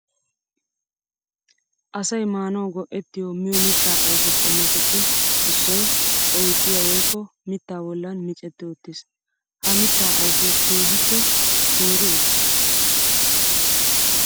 Asay maanawu go'ettiyo miyo mitta ayfe qommotuppe issoy oyddiya woykko mitta bollan miccetti utiis. Ha mitta ayfe keehippe teeri uttiis.